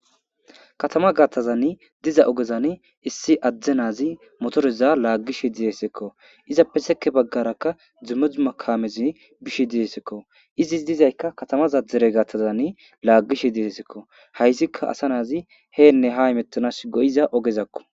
Katama gattazanni diza ogezan issi adzdze naazi motoreza laaggishe didesekko izappe seke baggarakka dzimozu makamezi bishe didesekko izi dizaykka katamaza dere gattazani laaggishe didesekko hayzikka asa naazi heenne ha imettanas go'iza ogezakko.